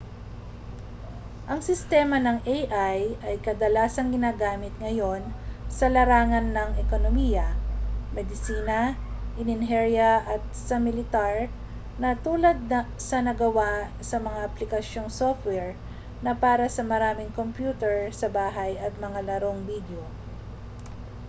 ang sistema ng al ay kadalasang ginagamit ngayon sa larangan ng ekonomika medisina inhinyeria at sa militar na tulad sa nagawa sa mga aplikasyong software na para sa maraming kompyuter sa bahay at mga larong bidyo